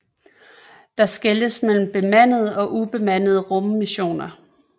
Der skelnes mellem bemandede og ubemandede rummissioner